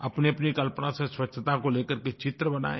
अपनीअपनी कल्पना से स्वच्छता को लेकर के चित्र बनाये